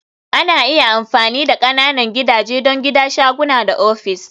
Ana iya amfani da ƙananan gidaje don gida, shaguna da ofis